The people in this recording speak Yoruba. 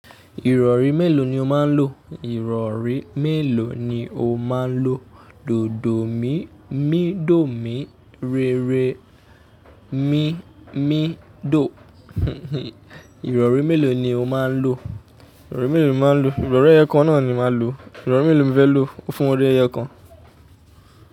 Ìrọ̀rí mélòó ni o máa ń lo? Ìrọ̀rí mélòó ni o máa ń lo? Dòdò mí, mí dò mí, rere mí, mí dò. Ìrọ̀rí mélòó ni o máa ń lo? Ìrọ̀rí mélòó ni o máa ń lo? Ìrọ̀rí ẹyẹ kan náà ni màá lo. Ìrọ̀rí mélòó ni mo fẹ́ lo? Fún orí ẹ yo kan.